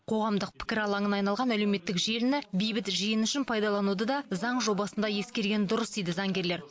қоғамдық пікір алаңына айналған әлеуметтік желіні бейбіт жиын үшін пайдалануды да заң жобасында ескерген дұрыс дейді заңгерлер